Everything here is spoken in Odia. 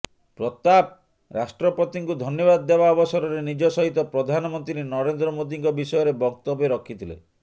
ପ୍ରତାପ ରାଷ୍ଟ୍ରପତିଙ୍କୁ ଧନ୍ୟବାଦ ଦେବା ଅବସରରେ ନିଜ ସହିତ ପ୍ରଧାନମନ୍ତ୍ରୀ ନରେନ୍ଦ୍ର ମୋଦୀଙ୍କ ବିଷୟରେ ବକ୍ତବ୍ୟ ରଖିଥିଲେ